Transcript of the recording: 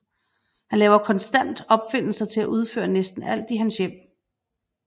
Han laver konstant opfindelser til at udføre næsten alt i hans hjem